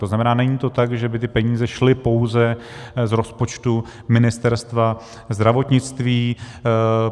To znamená, není to tak, že by ty peníze šly pouze z rozpočtu Ministerstva zdravotnictví.